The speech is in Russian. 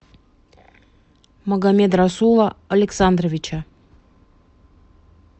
магомедрасула александровича